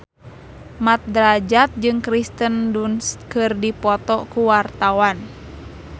Mat Drajat jeung Kirsten Dunst keur dipoto ku wartawan